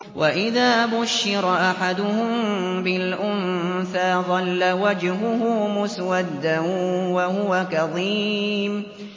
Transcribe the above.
وَإِذَا بُشِّرَ أَحَدُهُم بِالْأُنثَىٰ ظَلَّ وَجْهُهُ مُسْوَدًّا وَهُوَ كَظِيمٌ